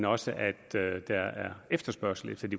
også at der er efterspørgsel efter de